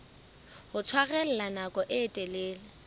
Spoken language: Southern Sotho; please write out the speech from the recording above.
ho tshwarella nako e telele